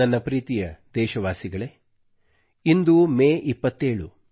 ನನ್ನ ಪ್ರೀತಿಯ ದೇಶವಾಸಿಗಳೇ ಇಂದು ಮೇ 27